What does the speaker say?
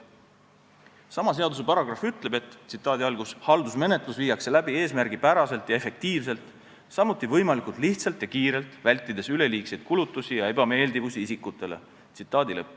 Sama seaduse paragrahv ütleb, et haldusmenetlus viiakse läbi eesmärgipäraselt ja efektiivselt, samuti võimalikult lihtsalt ja kiirelt, vältides isikutele üleliigsete kulutuste ja ebameeldivuste tekitamist.